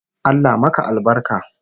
Allah maka albarka!